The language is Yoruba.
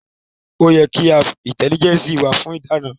Ó yẹ ki AI intelligence wa fún ìdáná